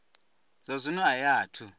zwa zwino a i athu